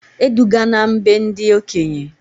E dugana m be ndị okenye!